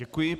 Děkuji.